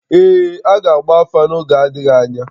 Ee, a ga-agba afa n’oge adịghị anya